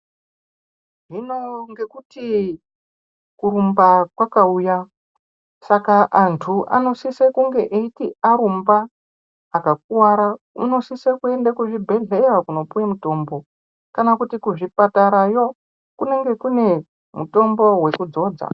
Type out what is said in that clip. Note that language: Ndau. Hino ngekuti kurumba kwakauya, saka antu anosise kunge eiti arumba akakuwara, anosise kuende kuzvibhehlera kopiwa mutombo, kana kuti kuzvipatarayo kunenge kune mutombo wekudzodza.